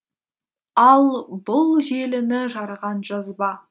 ал бұл желіні жарған жазба